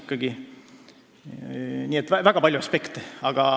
Nii et arvestama peab väga paljusid aspekte.